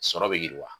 Sɔrɔ bɛ yiriwa